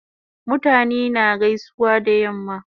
Mutane na gaisuwa da yamma